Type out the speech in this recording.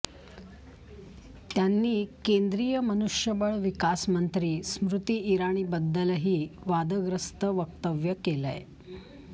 त्यांनी केंद्रीय मनुष्यबळ विकास मंत्री स्मृति इराणीबद्दलही वादग्रस्त वक्तव्य केलंय